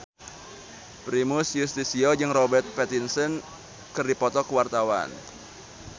Primus Yustisio jeung Robert Pattinson keur dipoto ku wartawan